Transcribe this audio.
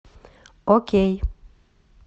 окей